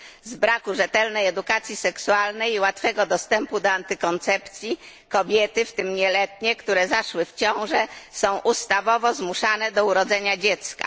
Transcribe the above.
Z braku rzetelnej edukacji seksualnej i łatwego dostępu do antykoncepcji kobiety, w tym nieletnie, które zaszły w ciążę, są ustawowo zmuszane do urodzenia dziecka.